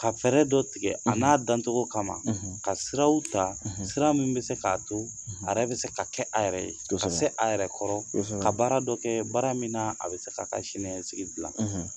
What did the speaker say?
Ka fɛɛrɛ dɔ tigɛ a n'a dancogo kama ka siraw ta sira min bɛ se k'a to a yɛrɛ bɛ se ka kɛ a yɛrɛ ye ka se a yɛrɛ kɔrɔ ka baara dɔ kɛ baara min na a bɛ se ka ka siniɲɛsigi dilan